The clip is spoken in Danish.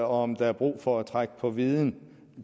om der er brug for at trække på viden